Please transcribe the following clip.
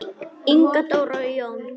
Inga Dóra og Jón.